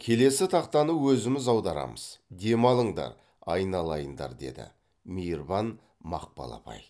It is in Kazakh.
келесі тақтаны өзіміз аударамыз демалыңдар айналайындар деді мейірбан мақпал апай